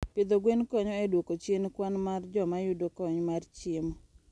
Pidho gwen konyo e dwoko chien kwan mar joma yudo kony mar chiemo.